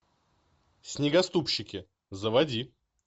снегоступщики заводи